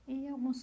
E alguns